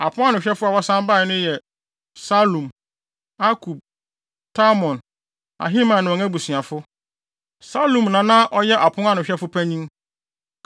Apon ano hwɛfo a wɔsan bae no yɛ: Salum, Akub, Talmon, Ahiman ne wɔn abusuafo. Salum na na ɔyɛ ɔpon ano hwɛfo panyin.